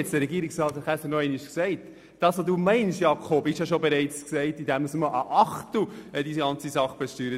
Was Grossrat Schwarz meint, ist ja bereits getan, indem Pisten- und Loipenfahrzeuge nur mit einem Achtel besteuert werden.